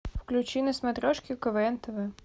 включи на смотрешке квн тв